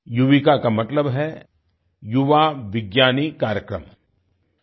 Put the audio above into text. युविका का मतलब है युवा विज्ञानी कार्यक्रम युवा विज्ञानी Karyakram